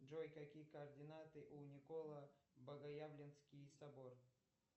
джой какие координаты у николо богоявленский собор